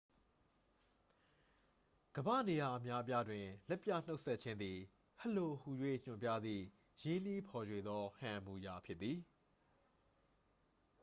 "ကမ္ဘာ့နေရာ အများအပြားတွင် လက်ပြနှုတ်ဆက်ခြင်းသည် "ဟယ်လို" ဟူ၍ ညွှန်ပြသည့် ရင်းနှီးဖော်ရွှေသော ဟန်အမူအရာဖြစ်သည်။